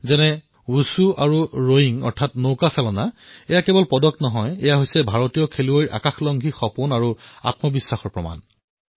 যেনে ৱুশ্বু আৰু ৰয়িঙৰ দৰে খেল এয়া কেৱল পদকেই নহয় প্ৰমাণ হয় ভাৰতীয় খেল আৰু খেলুৱৈৰ আকাশ স্পৰ্শ কৰাৰ উৎসাহ আৰু সপোনৰ